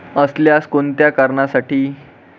असल्यास कोणत्या कारणासाठी?